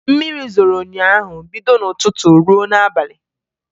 Mmiri zoro ụnyaahụ bido n'ụtụtụ ruo n'abalị